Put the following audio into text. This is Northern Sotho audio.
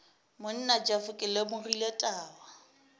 monna jeff ke lemogile taba